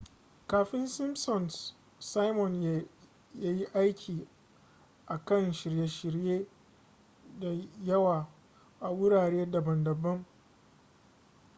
kafin simpsons simon ya yi aiki a kan shirye-shirye da yawa a wurare daban-daban